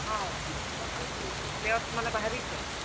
ହଁ, ଭଲ୍ players ମାନେ ବାହାରିଛନ୍।